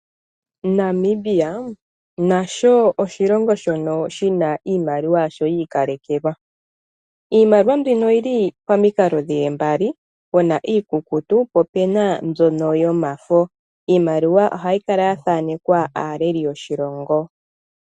Namibia nasho oshilongo shono shi na iimaliwa yasho yiikalekelwa. Iimaliwa mbino oyi li pamikalo dhi li mbali pe na mbi iikukutu po ope na mbyoka yomafo. Iimaliwa ohayi kala ya thanekwa aaleli yoshilongo.